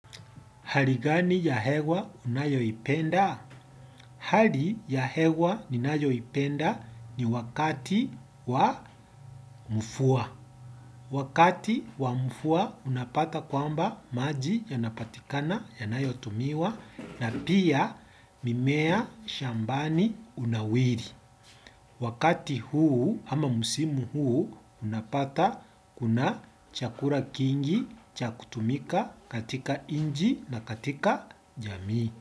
Hali gani ya hewa unayoipenda? Hali ya hewa ninayoipenda ni wakati wa mvua. Wakati wa mvua unapata kwamba maji yanapatikana yanayotumiwa na pia mimea shambani hunawiri. Wakati huu ama msimu huu unapata kuna chakula kingi cha kutumika katika nchi na katika jamii.